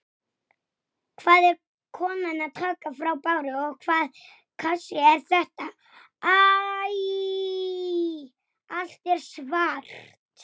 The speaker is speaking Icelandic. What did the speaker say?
Vantar ykkur ekki maðk?